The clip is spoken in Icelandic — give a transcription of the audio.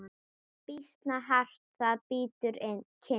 Býsna hart það bítur kinn.